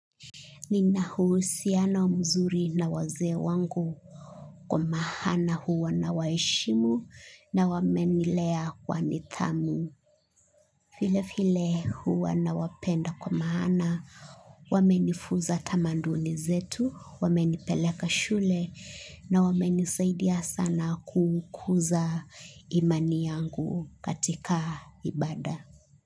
Nina uhusiano mzuri na waze wangu kwa mahana huwa na waishimu na wamenilea kwa nitamu. File file huwa na wapenda kwa mahana, wamenifuza tamanduli zetu, wamenipeleka shule na wamenisaidia sana kukuza imani yangu katika ibada.